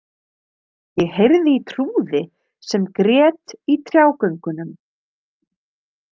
Ég heyrði í trúði sem grét í trjágöngunum.